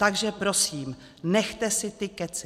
Takže prosím, nechte si ty kecy!